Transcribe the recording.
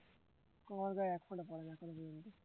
কৈ আমার গায়ে এক ফোঁটা পড়েনি কেন কে জানে